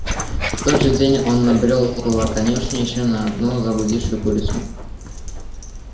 в тот же день он набрёл около конюшни ещё на одну заблудшую курицу